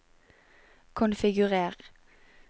konfigurer